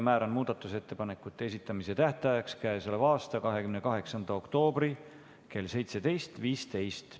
Määran muudatusettepanekute esitamise tähtajaks k.a 28. oktoobri kell 17.15.